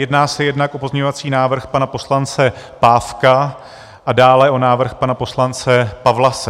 Jedná se jednak o pozměňovací návrh pana poslance Pávka a dále o návrh pana poslance Pawlase.